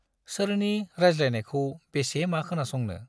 सोरनि रायज्लायनायखौ बेसे मा खोनासंनो।